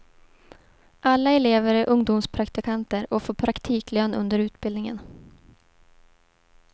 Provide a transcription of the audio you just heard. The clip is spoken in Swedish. Alla elever är ungdomspraktikanter och får praktiklön under utbildningen.